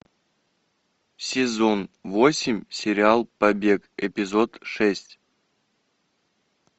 сезон восемь сериал побег эпизод шесть